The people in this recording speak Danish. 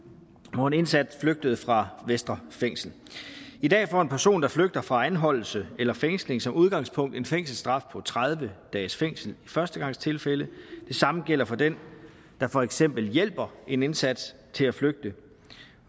hvor en indsat flygtede fra vestre fængsel i dag får en person der flygter fra anholdelse eller fængsling som udgangspunkt en fængselsstraf på tredive dages fængsel i førstegangstilfælde det samme gælder for den der for eksempel hjælper en indsat til at flygte